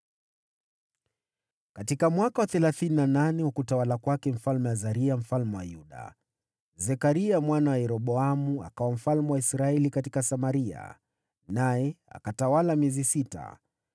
Katika mwaka wa thelathini na nane wa utawala wa Azaria mfalme wa Yuda, Zekaria mwana wa Yeroboamu akawa mfalme wa Israeli katika Samaria, naye akatawala miezi sita.